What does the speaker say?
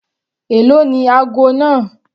Èló ni ago náà?